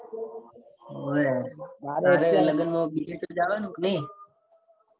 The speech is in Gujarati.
હોવે મારે લગન માં બીજે કયોય જવાનું કે નાઈ.